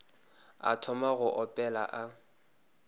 a thoma go opela a